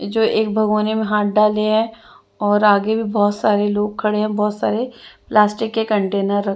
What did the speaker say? जो एक भागोने में हाथ डाले है और आगे भी बहुत सारे लोग खड़े हैं बहुत सारे प्लास्टिक के कंटेनर र--